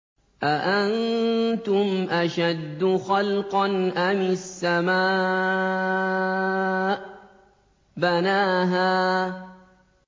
أَأَنتُمْ أَشَدُّ خَلْقًا أَمِ السَّمَاءُ ۚ بَنَاهَا